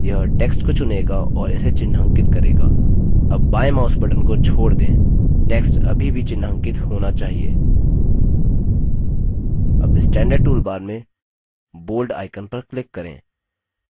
यह text को चुनेगा और इसे चिन्हांकित करेगा अब बायें mouse button को छोड़ दें text अभी भी चिन्हांकित होना चाहिए अब standard toolbar में bold icon पर click करें